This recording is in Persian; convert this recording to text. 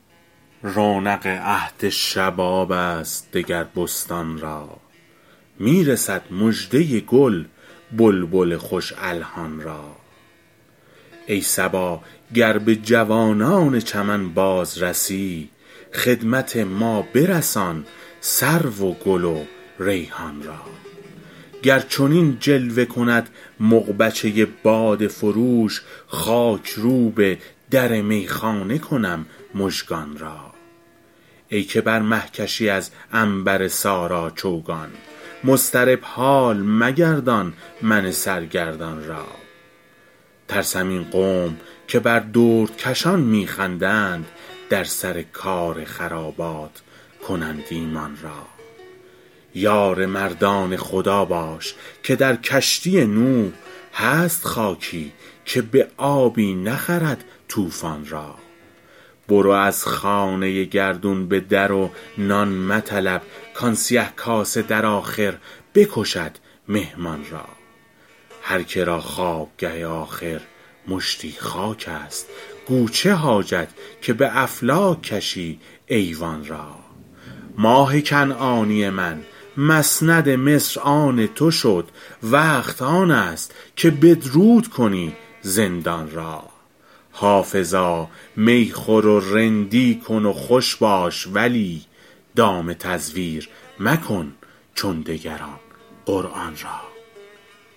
رونق عهد شباب است دگر بستان را می رسد مژده گل بلبل خوش الحان را ای صبا گر به جوانان چمن باز رسی خدمت ما برسان سرو و گل و ریحان را گر چنین جلوه کند مغبچه باده فروش خاک روب در میخانه کنم مژگان را ای که بر مه کشی از عنبر سارا چوگان مضطرب حال مگردان من سرگردان را ترسم این قوم که بر دردکشان می خندند در سر کار خرابات کنند ایمان را یار مردان خدا باش که در کشتی نوح هست خاکی که به آبی نخرد طوفان را برو از خانه گردون به در و نان مطلب کآن سیه کاسه در آخر بکشد مهمان را هر که را خوابگه آخر مشتی خاک است گو چه حاجت که به افلاک کشی ایوان را ماه کنعانی من مسند مصر آن تو شد وقت آن است که بدرود کنی زندان را حافظا می خور و رندی کن و خوش باش ولی دام تزویر مکن چون دگران قرآن را